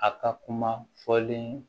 A ka kuma fɔlen